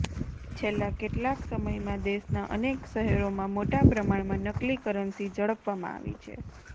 છેલ્લા કેટલાક સમયમાં દેશના અનેક શહેરોમાં મોટા પ્રમાણમાં નકલી કરન્સી ઝડપવામાં આવી છે